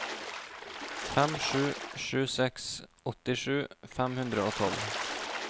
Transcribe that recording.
fem sju sju seks åttisju fem hundre og tolv